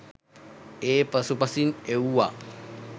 ඒ පසුපසින් එව්වා..